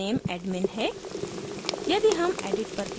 यहाँ username admin है